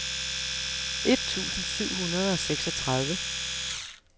et tusind syv hundrede og seksogtredive